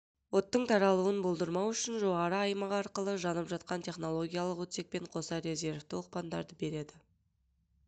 оттың таралуын болдырмау үшін жоғары аймақ арқылы жанып жатқан технологиялық отсекпен қоса резервті оқпандарды береді